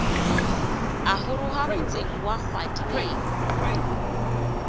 a goroga motseng wa kgwadibeng